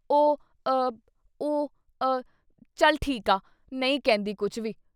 “ਉਂ…….ਅ……..ਉਂ …..ਅ ! ਚੱਲ ਠੀਕ ਆ , ਨਹੀਂ ਕਹਿੰਦੀ ਕੁਛ ਵੀ ।